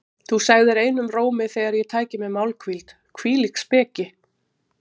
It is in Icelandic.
Þú segðir einum rómi þegar ég tæki mér málhvíld: Hvílík speki!